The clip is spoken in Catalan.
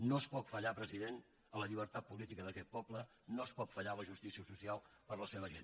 no es pot fallar president a la llibertat política d’aquest poble no es pot fallar a la justícia social per a la seva gent